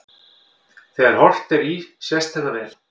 Þegar horft er í sést þetta vel.